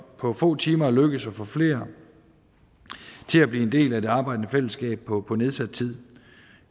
på få timer er lykkedes at få flere til at blive en del af det arbejdende fællesskab på på nedsat tid